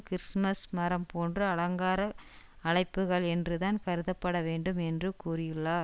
Christmas மரம் போன்ற அலங்கார அளிப்புக்கள் என்றுதான் கருதப்பட வேண்டும் என்று கூறியுள்ளார்